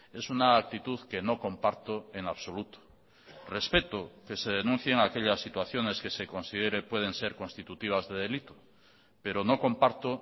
es una actitud que no comparto en absoluto respeto que se denuncien aquellas situaciones que se considere pueden ser constitutivas de delito pero no comparto